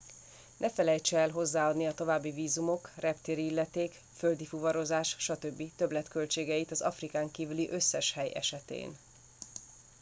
ne felejtse el hozzáadni a további vízumok reptéri illeték földi fuvarozás stb többletköltségeit az afrikán kívüli összes hely esetén